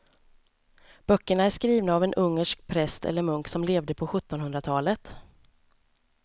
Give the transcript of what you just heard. Böckerna är skrivna av en ungersk präst eller munk som levde på sjuttonhundratalet.